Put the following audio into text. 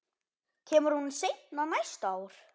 Kemur hún seinna næsta ár?